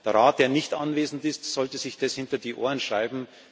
Der Rat, der nicht anwesend ist, sollte sich das hinter die Ohren schreiben.